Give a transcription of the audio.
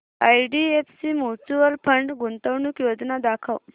IDFC mutual fund गुंतवणूक योजना दाखव